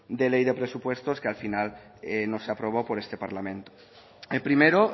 de ley de presupuestos que al final no se aprobó por este parlamento el primero